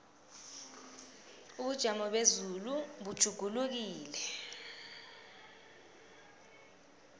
ubujamo bezulu butjhugulukile